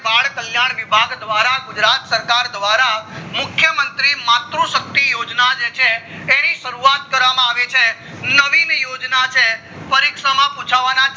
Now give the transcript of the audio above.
બળ કલ્યાણ વિબ્ભાગ દ્વારા ગુજરાત સરકાર દ્વારા મુખ્ય મંત્રી માત્રુ શક્તિ યોજના જે છે એની શરૂવાત કરવામાં આવું છે નવીન યોજના જે છે પરિક્ષા માં પૂછવાના